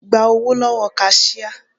Gba owó lówó kasíá